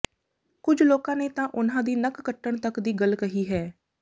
ਕੁਝ ਲੋਕਾਂ ਨੇ ਤਾਂ ਉਨ੍ਹਾਂ ਦੀ ਨੱਕ ਕੱਟਣ ਤੱਕ ਦੀ ਗੱਲ ਕਹੀ ਹੈ